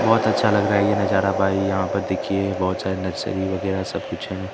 बहुत अच्छा लग रहा है ये नजारा भाई यहां पर देखिए बहुत सारे नर्सरी वगैरह सब कुछ हैं।